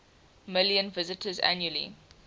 million visitors annually